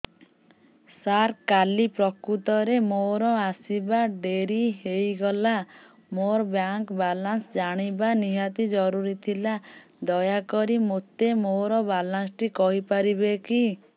ସାର କାଲି ପ୍ରକୃତରେ ମୋର ଆସିବା ଡେରି ହେଇଗଲା ମୋର ବ୍ୟାଙ୍କ ବାଲାନ୍ସ ଜାଣିବା ନିହାତି ଜରୁରୀ ଥିଲା ଦୟାକରି ମୋତେ ମୋର ବାଲାନ୍ସ ଟି କହିପାରିବେକି